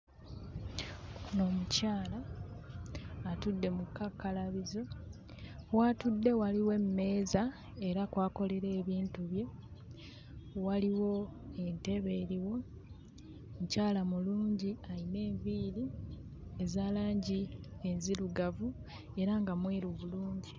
Ono omukyala atudde mu kkakkalabizo. W'atudde waliwo emmeeza era kw'akolera ebintu bye, waliwo entebe eriwo. Mukyala mulungi, ayina enviiri eza langi enzirugavu era nga mweru bulungi.